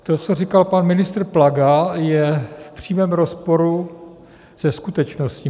To, co říkal pan ministr Plaga, je v přímém rozporu se skutečností.